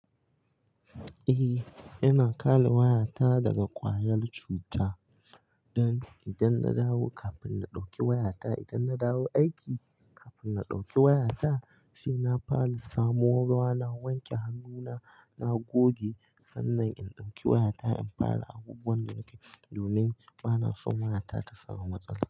Eh, ina kale wayata daga kwayar cuta, don idan na dawo kafin da dauki waya ta aiki kafin na ɗauki waya ta, sai na fara samo ruwa, na wanke hannuna, na goge sannan in ɗauki waya ta in fara abubuwan da nake yi domin ba na so wayata ta samu matsala.